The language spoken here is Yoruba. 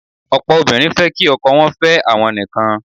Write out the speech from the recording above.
Ọ̀pọ̀ obìnrin fẹ́ kí ọkọ wọ́n fẹ́ àwọn nìkan.